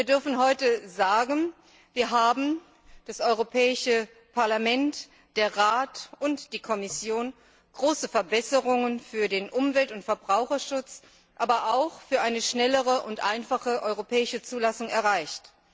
Wir dürfen heute sagen Wir das Europäische Parlament, der Rat und die Kommission haben große Verbesserungen für den Umwelt und Verbraucherschutz, aber auch für eine schnellere und einfache europäische Zulassung erreicht.